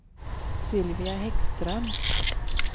Sylvia Häggström